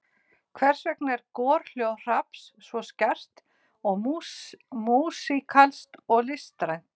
Hversvegna er gorhljóð hrafns svo skært og músíkalskt og listrænt?